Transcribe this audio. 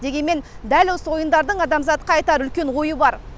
дегенмен дәл осы ойындардың адамзатқа айтар үлкен ойы бар